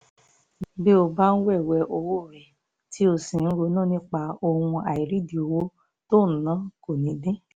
bí o bá ń wéwèé owó rẹ tí o sì ń ronú nípa ohun àìrídìí owó tó o ná kò ní dín